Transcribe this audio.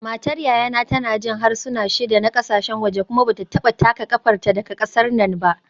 Matar yayana tana jin harsuna shida na kasashen waje kuma ba ta taka kafarta daga kasar nan ba